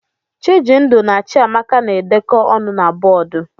Chijindu na Chiamaka na-edekọ ọnụ na bọọdụ.